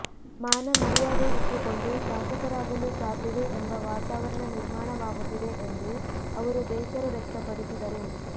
ಮಾನ ಮರ್ಯಾದೆ ಇಟ್ಟುಕೊಂಡು ಶಾಸಕರಾಗಲು ಸಾಧ್ಯವೇ ಎಂಬ ವಾತಾವರಣ ನಿರ್ಮಾಣವಾಗುತ್ತಿದೆ ಎಂದು ಅವರು ಬೇಸರ ವ್ಯಕ್ತಪಡಿಸಿದರು